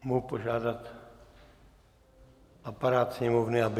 Mohu požádat aparát Sněmovny, aby...